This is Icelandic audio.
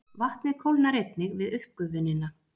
Vatnið kólnar einnig við uppgufunina.